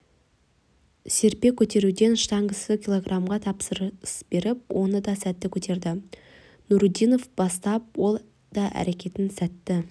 серпе көтеруден штангышы килограммға тапсырыс беріп оны да сәтті көтерді нурудинов бастап ол да әрекетін сәтті